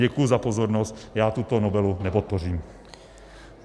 Děkuji za pozornost, já tuto novelu nepodpořím.